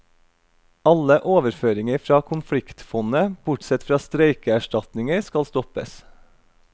Alle overføringer fra konfliktfondet, bortsett fra streikeerstatninger, skal stoppes.